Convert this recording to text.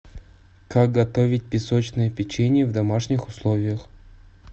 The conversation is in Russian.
как готовить песочное печенье в домашних условиях